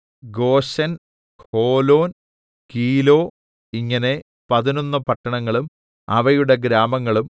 Goshen Holon Giloh ഇങ്ങനെ പതിനൊന്ന് പട്ടണങ്ങളും അവയുടെ ഗ്രാമങ്ങളും